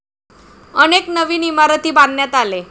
अनेक नवीन इमारती बांधण्यात आले.